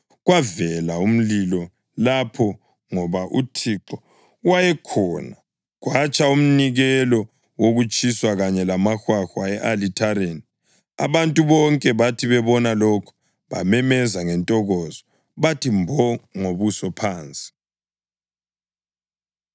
Kwavela umlilo lapho ngoba uThixo wayekhona, kwatsha umnikelo wokutshiswa kanye lamahwahwa e-alithareni. Abantu bonke bathi bebona lokho, bamemeza ngentokozo bathi mbo ngobuso phansi.